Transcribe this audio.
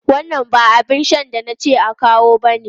Wannan ba abin shan da na ce a kawo bane!